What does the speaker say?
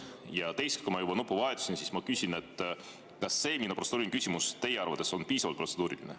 Ja teiseks, kuna ma juba nuppu vajutasin, siin ma küsin, kas see minu protseduuriline küsimus oli teie arvates piisavalt protseduuriline.